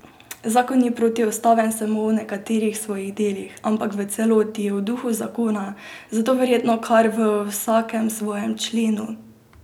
Zakon ni protiustaven samo v nekaterih svojih delih, ampak v celoti, v duhu zakona, zelo verjetno kar v vsakem svojem členu.